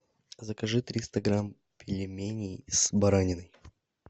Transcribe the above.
закажи триста грамм пельменей с бараниной